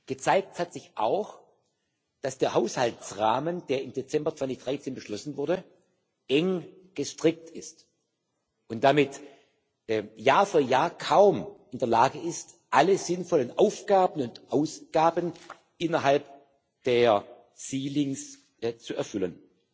Gezeigt hat sich auch, dass der Haushaltsrahmen, der im Dezember 2013 beschlossen wurde, eng gestrickt ist und damit Jahr für Jahr kaum in der Lage ist, alle sinnvollen Aufgaben und Ausgaben innerhalb der Obergrenzen zu erfüllen.